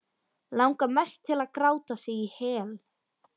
Langar mest til að gráta sig í hel.